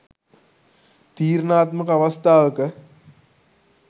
තීරණාත්මක අවස්ථාවක